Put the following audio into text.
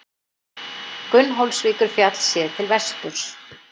Gunnólfsvíkurfjall, séð til vesturs.